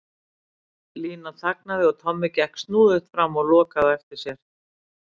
Lína þagnaði og Tommi gekk snúðugt fram og lokaði á eftir sér.